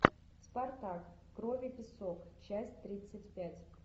спартак кровь и песок часть тридцать пять